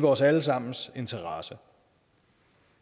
vores alle sammens interesse